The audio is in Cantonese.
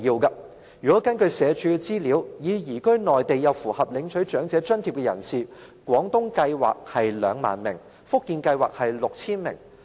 根據社署資料，已經移居內地又符合領取長者津貼的人士數目，廣東計劃是 20,000 名，福建計劃是 6,000 名。